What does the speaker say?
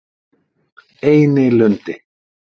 Einilundi